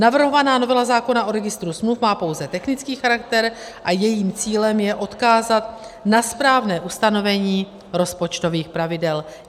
Navrhovaná novela zákona o registru smluv má pouze technický charakter a jejím cílem je odkázat na správné ustanovení rozpočtových pravidel.